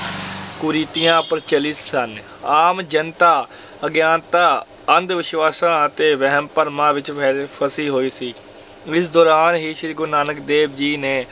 ਕੁਰੀਤੀਆਂ ਪ੍ਰਚਲਿਤ ਸਨ, ਆਮ ਜਨਤਾ ਅਗਿਆਨਤਾ ਅੰਧ-ਵਿਸ਼ਵਾਸਾਂ ਅਤੇ ਵਹਿਮ ਭਰਮਾਂ ਵਿੱਚ ਫਸੀ ਹੋਈ ਸੀ, ਇਸ ਦੌਰਾਨ ਹੀ ਸ੍ਰੀ ਗੁਰੂ ਨਾਨਕ ਦੇਵ ਜੀ ਨੇ